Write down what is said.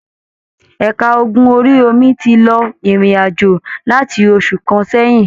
Ẹ̀ka ogun orí-omi tí lọ irin-ajo láti oṣù kàn sẹyìn.